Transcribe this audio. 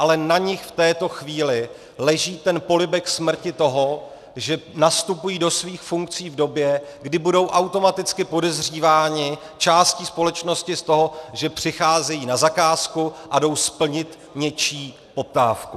Ale na nich v této chvíli leží ten polibek smrti toho, že nastupují do svých funkcí v době, kdy budou automaticky podezříváni částí společnosti z toho, že přicházejí na zakázku a jsou splnit něčí poptávku.